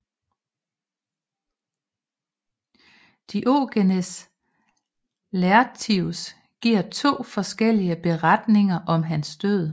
Diogenes Laertius giver to forskellige beretninger om hans død